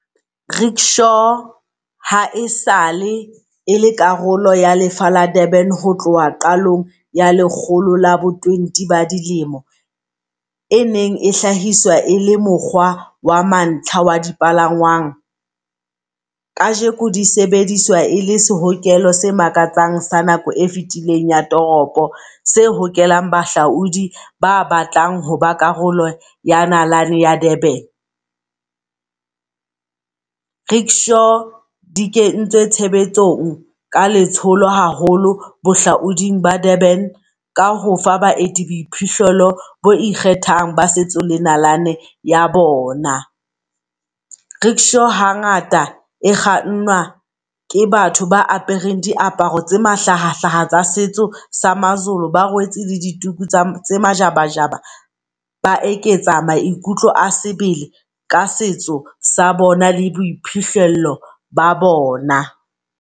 Rick Shaw ha e sale e le karolo ya lefa la Durban ho tloha qalong ya lekgolo la bo twenty ba dilemo. E neng e hlahiswa e le mokgwa wa mantlha wa di palangwang, kajeko di sebediswa e le lehokela se makatsang sa nako e fetileng ya toropo se hokelang bahlaodi ba batlang ho ba karolo ya nalane ya Durban. Rick Shaw di kentswe tshebetsong ka letsholo haholo bohlaoding ba Durban ka hofa baeti boiphihlelo bo ikgethang ba setso le nalane ya bona. Rick Shaw hangata e kgannwa ke batho ba apereng diaparo tse mahlahahlaha tsa setso sa maZulu. Ba rwetse le dituku tse majabajaba, ba eketsa maikutlo a sebele ka setso sa bona le boiphihlelo ba bona.